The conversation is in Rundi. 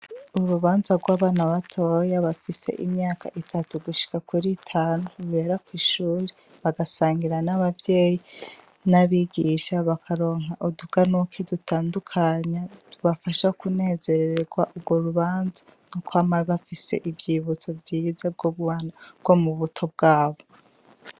Urubanza rw'abana batoya bafise imyaka itatu gushika kur'itanu rubera kw'ishure bagasangira n'abavyeyi n'abigisha bakaronka utuganuke dutandukanye tubafasha kunezerererwa urwo rubanza kwama bafise ivyibutso vyiza vyo mu buto bwabo.